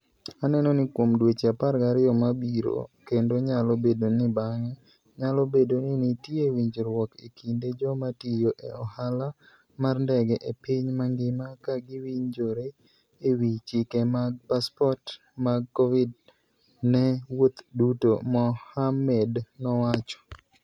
Aneno ni kuom dweche 12 mabiro kendo nyalo bedo ni bang'e, nyalo bedo ni nitie winjruok e kind joma tiyo e ohala mar ndege e piny mangima ka giwinjore e wi chike mag passport mag Covid ne wuoth duto, Mohammed nowacho.